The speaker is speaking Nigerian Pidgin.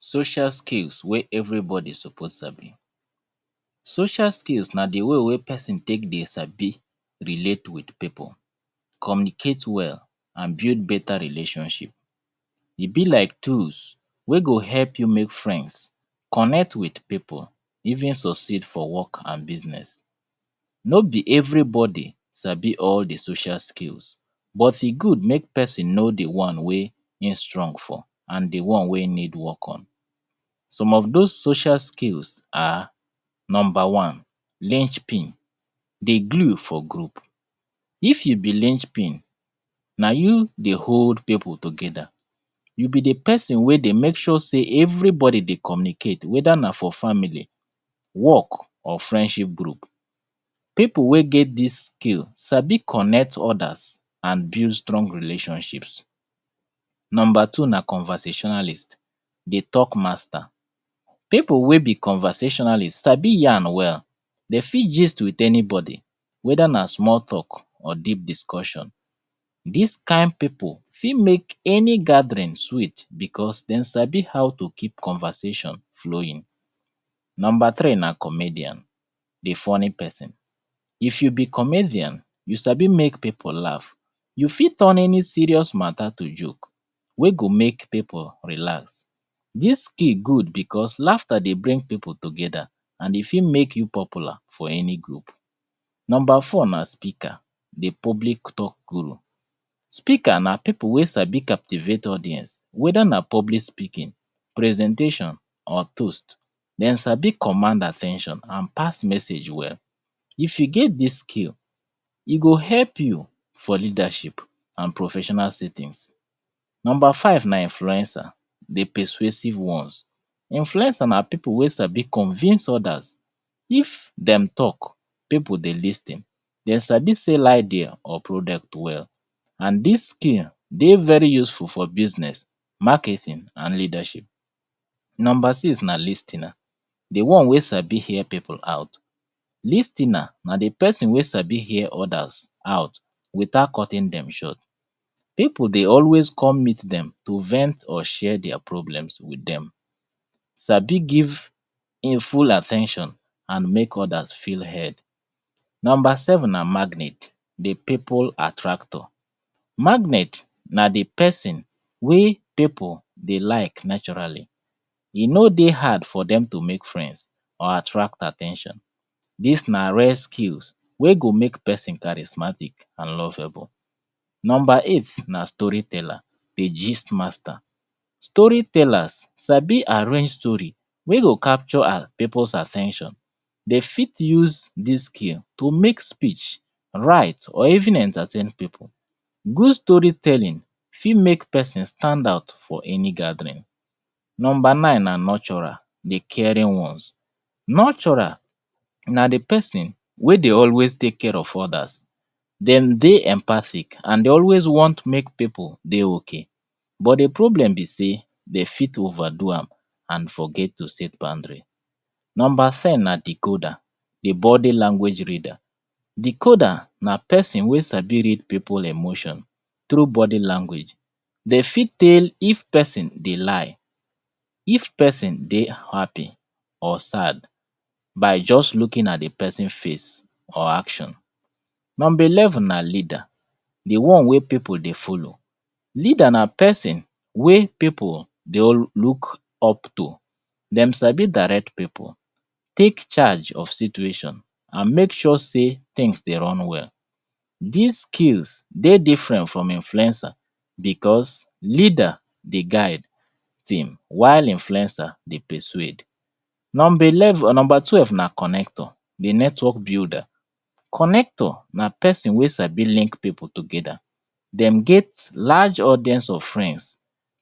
Social skills where everybody suppose sabi, social skills na di way wen pesin tek dety sabi dey relate with pipu, communicate well and build beta relationship. E be like toolls wey go help you mek friends, connect with pipu even succeed for work and business. No b everybody sabi all di social skill but e good mek pesin know di one wey e strong for and di one wey e need work on. Some of those social skills na numbr one ling pin. Di gle for group. If you be ling pin, na you dey hold pipu together, you be di jpesin dey mek sure sey eveybodi communicate weda na for family, work or friendship group. Pipu wey get dis skill sabi connect others and build strong relationships. Number two na conversationalist di talk master. Pipu wey be conversationalist sabi yan well, de fit gist with anybody weda na small talk or deep discussion. Dis kind pipu fit mek any gathering sweet because dem sabi how to keep conversation flowing. Number three na comedian. If you be comedian, you sabi mek ppu laugh, you fit turn any serious mata to joke wey go mek pipu laugh. Dis skill good because laughter dey bring pipu together and e fit mek you popular to any group. Number four na peaker jdi public talk guru. Speaker na pip wey sabi captivate audience weda na public speaking, presentation, or toast, dem sabi command at ten tion and pass message well. If you get dia skill, e go help you for leadership and professional sittings. Number five na influencer di persuasive ones. Influencer na pipu wey sabi convince others, if den talk, pipu dey lis ten, dem abi sell idea na or product well and dis skill dey very useful for business, marketing and leadersip. Number six na lis ten er di one wey sabi hear pipu out. Lis ten er na di pesin wey sabi hear others out without cutting dem short. Pipu dey always come meet dem to vent or share their problem with dem, ssabi give fuul at ten tion and mek oters feel heard. Number seven na magnet di pipu attractor. Magnet na di pesin wey pipu dey like naturally, e no dey hard for dem to mek friends or at ten tion, dis na rare skill w ey go mek pesin charismatic and lovable. Number eight na story teller di gist master. Story tellers sabi arrange story wey go capture pipus at ten tion, de fit use dis skill to mek speech, write or even entertaini pipu. Good story telling fit mek pesin stand out for any gathering. Number nine na nurturer di caring ones. Nurturer na di pesin wey dey always tek care of others. Dem dey empathic and de always want mek pipu dey ok, bt di problem be sey de fit over do am and forget to set boundary. Number ten na decoder di bodi language reader. Decoder na pesin wey sabi read ipu emotion through bodi language. De fit tell if pesin dey lie, if pesin dey happy or sad by just looing at di pesin face or actin. Number eleven na leader di one wey pipu dey follow. Leader na pesin wey pipu dey look up to de sabi direct pipu, tek charge of situation and mek sure sey things dey run well. Dis skills dey different from influencer because leader dey guide while influencer dey persuade. Number twelve na connector di network builder. Connector na pesin wey sai link pipu together, dem get large numbers of friends,